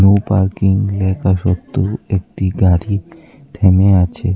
No parking লেখা সত্ত্বেও একটি গাড়ি থেমে আছে।